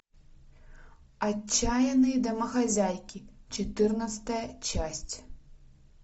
отчаянные домохозяйки четырнадцатая часть